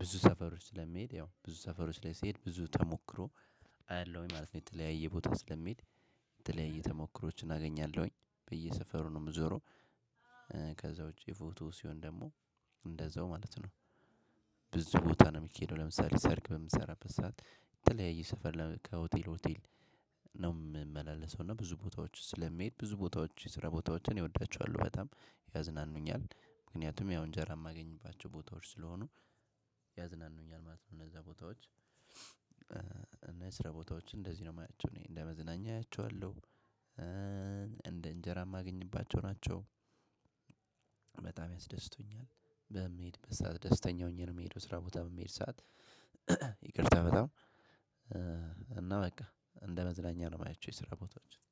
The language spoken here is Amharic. ብዙ ሰፈሮች ስለሚሄድ ያው ብዙ ሰፈሮች ላይ ስሄድ ብዙ ተሞክሮ አያለሁኝ ማለት ነው። የተለያየ ቦታ ስለምሄድ የተለያየ ተሞክሮዎችን አገኛለሁኝ። በየሰፈሩ ነው የምዞረው። ከዛ ውጭ የፎቶ ሲሆን ደግሞ እንደዛው ማለት ነው። ብዙ ቦታ ነው የሚሄደው ለምሳሌ ሰርግ በምሰራበት ሰዓት የተለያየ ሰፈር ከሆቴል ሆቴል ነው የምመላለሰው እና ብዙ ቦታዎች ስለምሄድ ብዙ ቦታዎች የስራ ቦታዎችን እወዳቸዋለሁ በጣም ያዝናኑኛል። ምክንያቱም ያው እንጀራ የማገኝባቸው ቦታዎች ስለሆኑ ያዝናኑኛል ማለት ነው። እነዛ ቦታዎች እና የስራ ቦታዎችን እንደዚህ ነው የማያቸው እኔ እንደ መዝናኛ አያቸዋለሁ። እንደ እንጀራ የማገኝባቸው ናቸው በጣም ያስደስቱኛል በምሄድበት ሰዓት ደስተኛ ሆኜ ነው የምሄደው ስራ ቦታ በምሄድ ሰዓት ይቅርታ በጣም እና በቃ እንደ መዝናኛ ነው የማያቸው የስራ ቦታዎችን